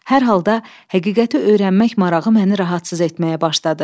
Hər halda həqiqəti öyrənmək marağı məni narahat etməyə başladı.